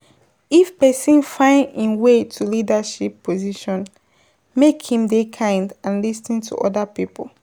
If person find im way to leadership position make im dey kind and lis ten to oda people